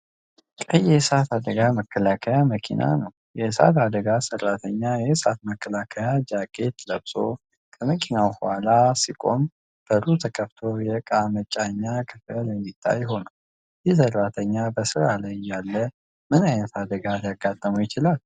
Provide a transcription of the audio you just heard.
ቀይ የእሳት አደጋ መከላከያ መኪና ነው። የእሳት አደጋ ሰራተኛ የእሳት መከላከያ ጃኬት ለብሶ ከመኪናው ኋላ ሲቆም፣ በሩ ተከፍቶ የእቃ መጫኛው ክፍል እንዲታይ ሆኗል። ይህ ሰራተኛ በሥራ ላይ እያለ ምን ዓይነት አደጋ ሊያጋጥመው ይችላል?